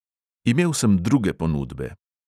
Imel sem druge ponudbe.